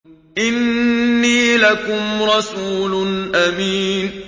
إِنِّي لَكُمْ رَسُولٌ أَمِينٌ